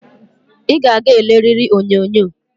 I ga-aga eleriri onyonyo